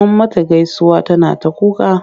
Mun mata gaisuwa tana ta kuka.